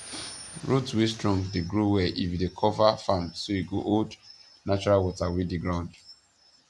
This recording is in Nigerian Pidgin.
root wey strong dey grow well if you dey cover farm so e go hold natural water wey dey ground